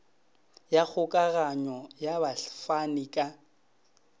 ya kgokaganyo ya bafani ka